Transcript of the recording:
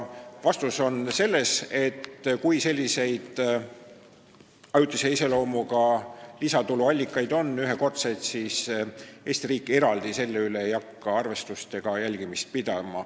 Vastus on, et kui sellised ajutise iseloomuga lisatuluallikad on ühekordsed, siis Eesti riik ei hakka selle üle arvestust pidama ega seda jälgima.